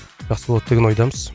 жақсы болады деген ойдамыз